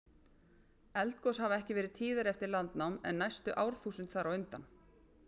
Eldgos hafa ekki verið tíðari eftir landnám en næstu árþúsund þar á undan.